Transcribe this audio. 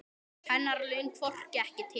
Hennar laun hrökkvi ekki til.